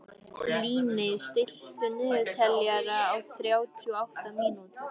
Líni, stilltu niðurteljara á þrjátíu og átta mínútur.